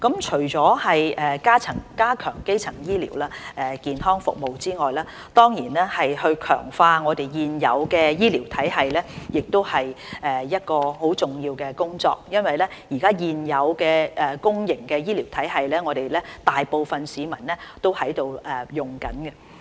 除了加強基層醫療健康服務，強化現有醫療體系也是一項很重要的工作，因為現有公營醫療體系，現時大部分市民都正在使用。